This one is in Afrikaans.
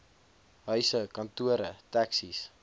huise kantore taxis